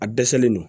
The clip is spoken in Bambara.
A dɛsɛlen no